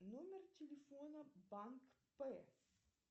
номер телефона банк пэ